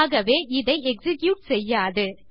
ஆகவே இதை எக்ஸிக்யூட் செய்யாது